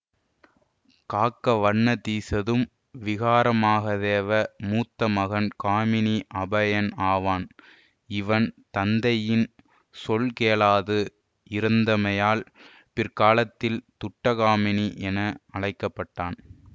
காக்கவண்ணதீசதும் விகாரைமகாதேவ மூத்தமகன் காமினி அபயன் ஆவான் இவன் தந்தையின் சொல்கேளாது இருந்தமையால் பிற்காலத்தில் துட்டகாமினி என அழைக்கப்பட்டான்